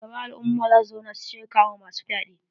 Shugaban al'umma za su zauna su shirya kama masu fyaɗe.